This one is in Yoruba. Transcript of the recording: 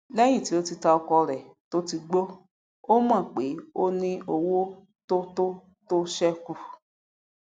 lẹyìn tí o tà ọkọ rẹ tóti gbó o mọn pé ó ní owó tótó tó ṣekù